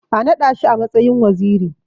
A naɗa shi a matsayin waziri.